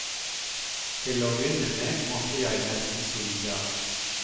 Til å begynne med måtte jeg nesten si ja.